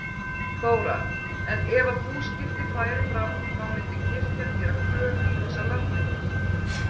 Þóra: En ef að búskipti færu fram þá myndi kirkjan gera kröfu í þessar landeignir?